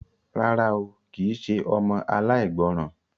Rárá o, kì í ṣe ọmọ aláìgbọràn.